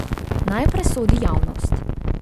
Naj presodi javnost.